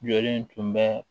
Jɔlen tun bɛ